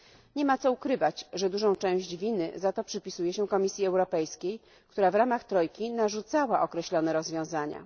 Nie ma co ukrywać, że dużą część winy za to przypisuje się Komisji Europejskiej, która w ramach trojki narzucała określone rozwiązania.